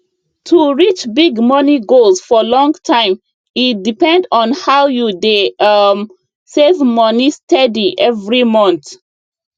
to reach big money goals for long time e depend on how you dey um save moni steady every month